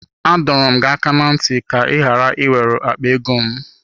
Adọrọ m gị aka na ntị ka ka ị ghara ị wete akpa ego m.